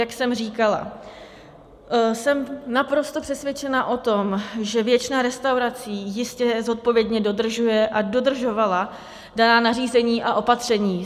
Jak jsem říkala, jsem naprosto přesvědčena o tom, že většina restaurací jistě zodpovědně dodržuje a dodržovala daná nařízení a opatření.